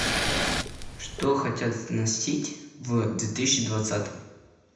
что хотят носить в две тысячи двадцатом